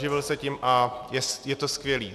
Živil se tím a je to skvělé.